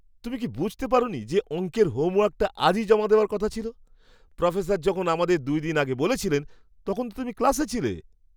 তুমি কি বুঝতে পারোনি যে অঙ্কের হোমওয়ার্কটা আজই জমা দেওয়ার কথা ছিল? প্রফেসর যখন আমাদের দুই দিন আগে বলেছিলেন তখন তো তুমি ক্লাসে ছিলে।